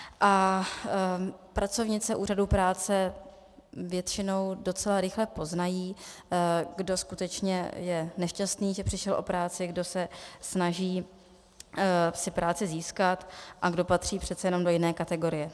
A pracovnice úřadů práce většinou docela rychle poznají, kdo skutečně je nešťastný, že přišel o práci, kdo se snaží si práci získat a kdo patří přece jenom do jiné kategorie.